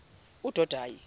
udodayi